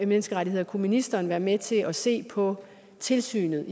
menneskerettigheder kunne ministeren være med til at se på tilsynet